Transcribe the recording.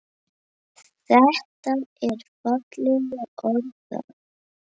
Þetta er fallega orðað.